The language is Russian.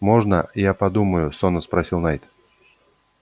можно я подумаю сонно спросил найд